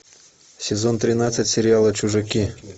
сезон тринадцать сериала чужаки